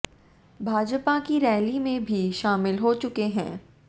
भाजपा कि रैली में भी शामिल हो चुके हैं